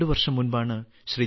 രണ്ട് വർഷം മുമ്പാണ് ശ്രീ